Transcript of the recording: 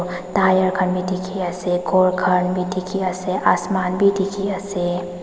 tyre khan bi dikhiase ghor khan bi dikhiase asaman bi dikhiase.